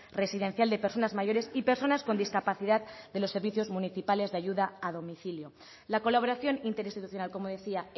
residencial de personas mayores y personas con discapacidad de los servicios municipales de ayuda a domicilio la colaboración interinstitucional como decía